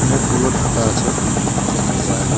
মুখগুলো ঢাকা আছে চেনা যায় না।